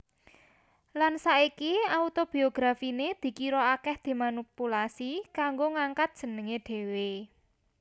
Lan saiki autobiografiné dikira akèh dimanipulasi kanggo ngangkat jenengé dhéwé